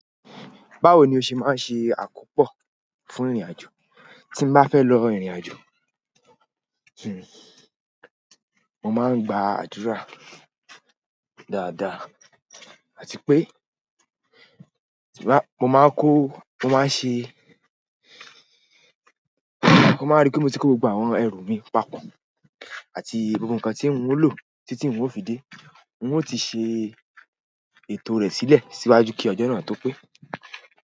Báwo ni o ṣe máa ń ṣe àkópò fún ìrìnàjò? Tín bá fẹ́ lọ ìrìnàjò, mo máa ń gba àdúrà dáadáa àti pé, tin ba, mo máa n kó, mo máa n ṣe, mo máa n rí pé mo ti kó gbogbo àwọn ẹrù mi papọ̀ àti gbogbo nǹkan tí ń o lò títí n ó fi dé, n ó ti ṣe ètò rẹ̀ sílẹ̀ síwájú kí ọjọ́ náà tó pé.